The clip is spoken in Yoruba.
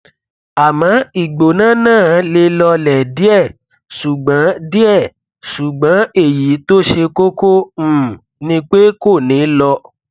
àmọ ìgbóná náà le lọlẹ díẹ ṣùgbọn díẹ ṣùgbọn èyí tó ṣe kókó um ni pé kò nih lọ